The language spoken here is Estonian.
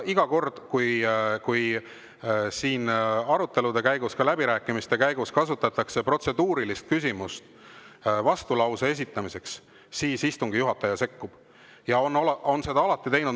Iga kord, kui siin arutelude ja ka läbirääkimiste käigus kasutatakse protseduurilist küsimust vastulause esitamiseks, istungi juhataja sekkub ja on seda alati teinud.